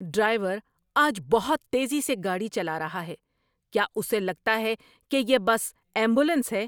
Driver آج بہت تیزی سے گاڑی چلا رہا ہے۔ کیا اسے لگتا ہے کہ یہ بس ایمبولینس ہے؟